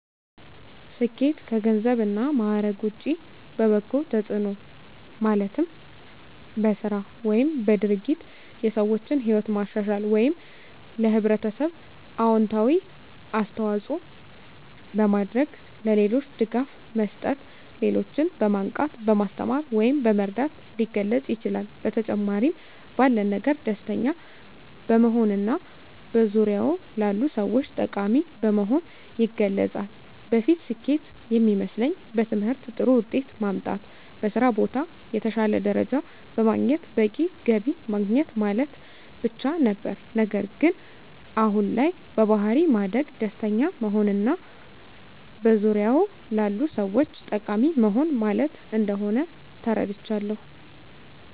ስኬት ከገንዘብ እና ማዕረግ ውጭ በበጎ ተጽዕኖ ማለትም በሥራ ወይም በድርጊት የሰዎችን ሕይወት ማሻሻል ወይም ለኅብረተሰብ አዎንታዊ አስተዋፅዖ በማድረግ፣ ለሌሎች ድጋፍ መስጠት፣ ሌሎችን በማንቃት፣ በማስተማር ወይም በመርዳት ሊገለፅ ይችላል። በተጨማሪም ባለን ነገር ደስተኛ በመሆንና በዙሪያዎ ላሉ ሰዎች ጠቃሚ በመሆን ይገለፃል። በፊት ስኬት የሚመስለኝ በትምህርት ጥሩ ውጤት ማምጣት፣ በስራ ቦታ የተሻለ ደረጃ በማግኘት በቂ ገቢ ማግኘት ማለት ብቻ ነበር። ነገር ግን አሁን ላይ በባሕሪ ማደግ፣ ደስተኛ መሆንና በዙሪያዎ ላሉ ሰዎች ጠቃሚ መሆን ማለት እንደሆን ተረድቻለሁ።